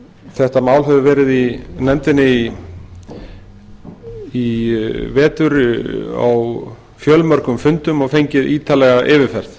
þetta mál hefur verið í nefndinni í vetur á fjölmörgum fundum og fengið ítarlega yfirferð